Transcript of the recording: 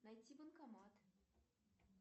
найти банкомат